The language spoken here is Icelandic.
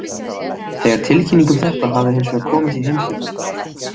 Þegar tilkynning um þetta hafði hins vegar komist í heimsfréttirnar.